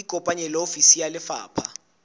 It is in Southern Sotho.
ikopanye le ofisi ya lefapha